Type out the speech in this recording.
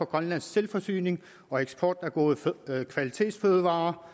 grønlandsk selvforsyning og eksport af kvalitetsfødevarer